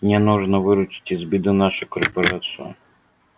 мне нужно выручить из беды нашу корпорацию